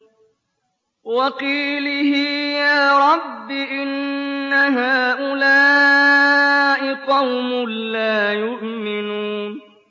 وَقِيلِهِ يَا رَبِّ إِنَّ هَٰؤُلَاءِ قَوْمٌ لَّا يُؤْمِنُونَ